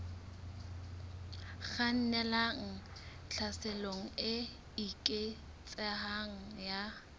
kgannelang tlhaselong e eketsehang ya